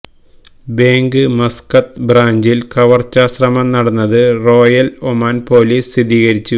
bank Muscat ബ്രാഞ്ചില് കവര്ച്ചാ ശ്രമം നടന്നത് റോയല് ഒമാന് പോലീസ് സ്ഥിരീകരിച്ചു